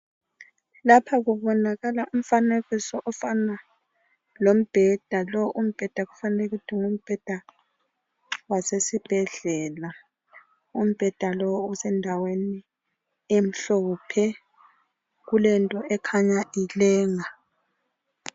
Lapha kubonakala umfanekiso ofana lombheda. Lowu umbheda kufanele ukuthi ngumbheda wasesibhedlela. Umbheda lowu usendaweni emhlophe kulento ekhanya ilenga.